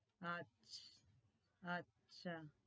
আচ্ছা